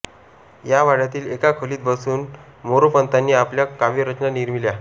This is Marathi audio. या वाड्यातील एका खोलीत बसून मोरोपंतांनी आपल्या काव्यरचना निर्मिल्या